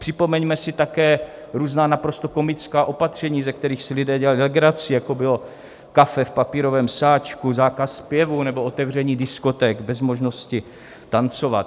Připomeňme si také různá naprosto komická opatření, ze kterých si lidé dělali legraci, jako bylo kafe v papírovém sáčku, zákaz zpěvu nebo otevření diskoték bez možnosti tancovat.